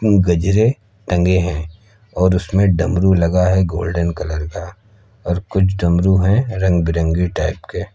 गजरे टंगे हैं और उसमें डमरू लगा है गोल्डन कलर का और कुछ डमरू है रंग बिरंगी टाइप के।